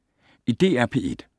DR P1